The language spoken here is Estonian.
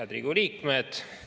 Head Riigikogu liikmed!